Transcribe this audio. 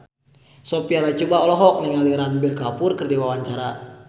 Sophia Latjuba olohok ningali Ranbir Kapoor keur diwawancara